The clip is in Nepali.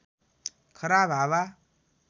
खराब हावा